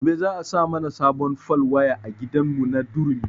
Gobe za a sa mana sabon fal waya a gidan mu na durumi